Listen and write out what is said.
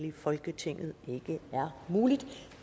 i folketinget ikke er muligt